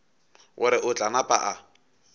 gore o tla napa a